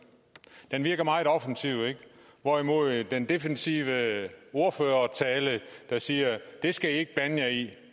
den virker meget offensiv hvorimod den defensive ordførertale der siger at det skal i ikke blande jer i